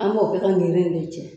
An b'o kɛ ka niri nin cɛ.